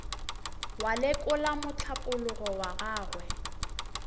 wa lekola mohlapologo wa gagwe